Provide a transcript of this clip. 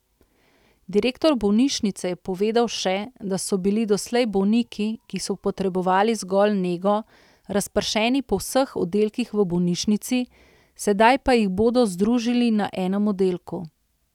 Direktor bolnišnice je povedal še, da so bili doslej bolniki, ki so potrebovali zgolj nego, razpršeni po vseh oddelkih v bolnišnici, sedaj pa jih bodo združili na enem oddelku.